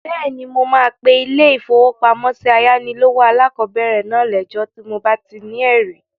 Bẹ́ẹ̀ni, mo máa pe ilé-ìfowópamọ́sí ayánilówó alákọ̀bẹ̀rẹ̀ náà lẹ́jọ́ tí mo bá ti ní ẹ̀rí